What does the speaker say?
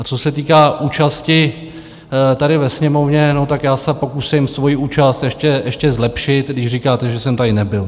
A co se týká účasti tady ve Sněmovně, tak já se pokusím svoji účast ještě zlepšit, když říkáte, že jsem tady nebyl.